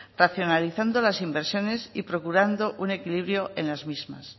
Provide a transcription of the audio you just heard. racionalizando las inversiones y procurando un equilibrio en las mismas